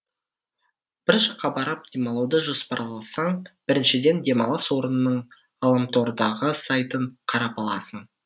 бір жаққа барып демалуды жоспарласаң біріншіден демалыс орнының ғаламтордағы сайтын қарап аласың